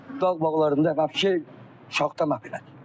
Dağ bağlarında vapshe şaxta məhv elədi.